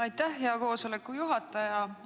Aitäh, hea juhataja!